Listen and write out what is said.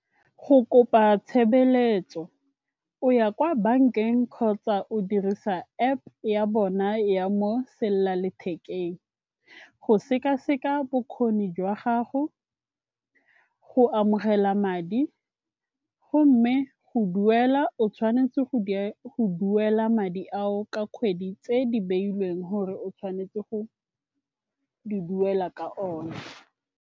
Go kopa tshebeletso o ya kwa bankeng kgotsa o dirisa App ya bona ya mo selelalethekeng go sekaseka bokgoni jwa gago, go amogela madi gomme go duela o tshwanetse go duela madi ao ka kgwedi tse di beilweng gore o tshwanetse go di duela ka one.